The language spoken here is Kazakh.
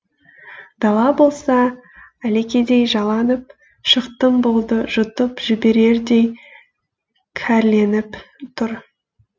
дала болса әлекедей жаланып шықтың болды жұтып жіберердей кәрленіп тұр